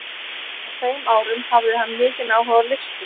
Á þeim árum hafði hann mikinn áhuga á listum.